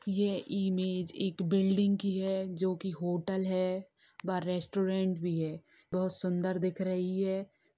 ये इमेज एक बिल्डिंग की है जो की होटल है। बाहर रेस्टोरेंट भी है बहुत सुन्दर दिख रही है।